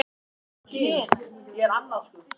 Pabbi gaf mér keðjuna, hann er svo góður, hann pabbi.